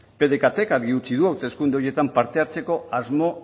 pdecat k argi utzi du hauteskunde horietan parte hartzeko asmo